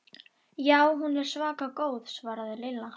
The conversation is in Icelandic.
Já, hún er svaka góð svaraði Lilla.